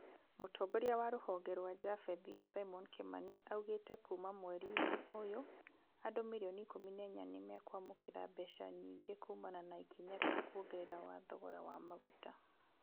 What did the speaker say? Mũtongoria wa rũhonge rwa japhethi, Simon Kimani, augĩte kuuma mweri-inĩ ũyũ, andũ mirioni ikũmi na inyanya nĩmekwamũkĩra mbeca nyingĩ kumana na ikinya rĩa kuongerera wa thogora wa maguta.